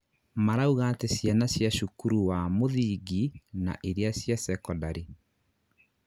marauga atĩ ciana ca cukuru wa muthingi na iria ya cekondarĩ